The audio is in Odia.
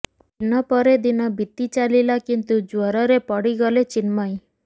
ଦିନ ପରେ ଦିନ ବିତିଚାଲିଲା କିନ୍ତୁ ଜ୍ୱରରେ ପଡିଗଲେ ଚିନ୍ମୟୀ